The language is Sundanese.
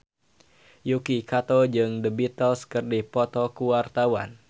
Yuki Kato jeung The Beatles keur dipoto ku wartawan